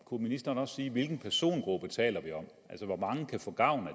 kunne ministeren også sige hvilken persongruppe vi taler om altså hvor mange kan få gavn af